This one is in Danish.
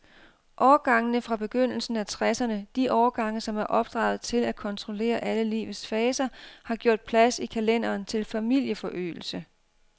Årgangene fra begyndelsen af tresserne, de årgange, som er opdraget til at kontrollere alle livets faser, har gjort plads i kalenderen til familieforøgelse.